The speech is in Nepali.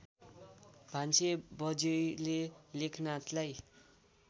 भान्सेबज्यैले लेखनाथलाई